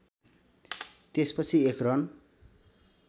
त्यसपछि एक रन